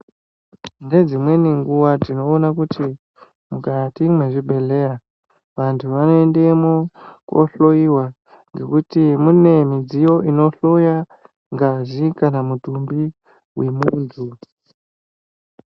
Ndedzimweni nguwa tinoona kuti mukati mwezvibhedhleya tinoona kuti vantu vanoendamo kunohloyiwa ngekuti mune midziyo inohloya ngazi kana mitumbi yemuntu.